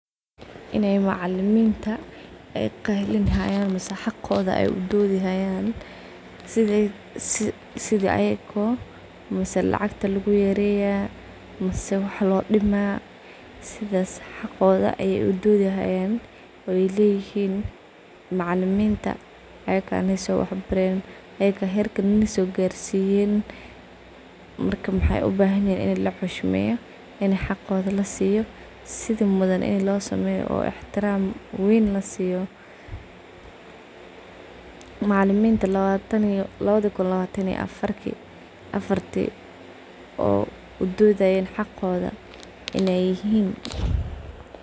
Inay macalaminta ayy qaylinahayan mise xaqodhi ayy udodhihayan sidhii ayako mise lacaqta lakuyareya mise waxa loo dima sidhaas xaqodha ay udodhihayan ayy laihiin macaliminta ayaka insoo waxa barayan ayaka herkan insoo gaarsiyeen marka waxay ubahanyiihin in lii xishmeyo in xaqoodhi laa siyo sidhi mudhan in lloosameyo ixtiraam weyn lasiyo. Macaliminta lawataan lawadhikun lawantan iyo afarki oo udodhayeen xaqoodhi inay ihiin.